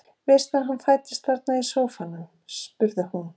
Veistu að hann fæddist þarna í sófanum? spurði hún.